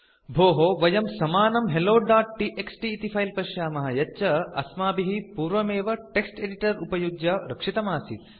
भोः वयं समानं helloटीएक्सटी इति फिले पश्यामः यच्च अस्माभिः पूर्वमेव टेक्स्ट् एडिटर उपयुज्य रक्षितम् आसीत्